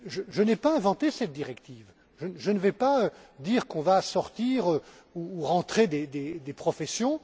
Je n'ai pas inventé cette directive. Je ne vais pas dire qu'on va sortir ou rentrer des professions.